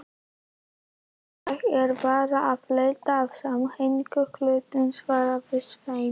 Ég er bara að leita að samhengi hlutanna, svaraði Sveinn.